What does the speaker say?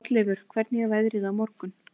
Hrolleifur, hvernig er veðrið á morgun?